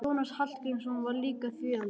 Jónas Hallgrímsson var líka þýðandi.